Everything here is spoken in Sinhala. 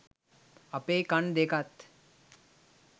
අපේ කණ් දෙකත්